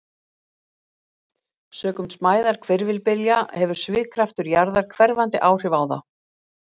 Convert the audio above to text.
Sökum smæðar hvirfilbylja hefur svigkraftur jarðar hverfandi áhrif á þá.